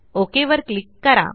okay वर click करा